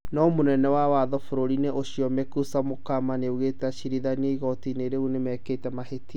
No mũnene wa watho bũrũri-inĩ ũcio Mukwesu Mokama augĩte acirithania igooti-inĩ rĩu nĩmekĩte mahĩtia